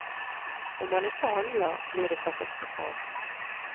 Om han ikke handler, blir det katastrofalt.